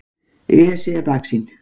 Esja í baksýn.